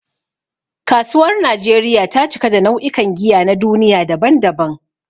Kasuwar Najeriya ta cika da nau'ikan giya na duniya daban-daban.